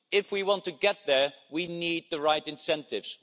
If we want to get there, we need the right incentives